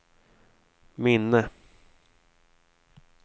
minne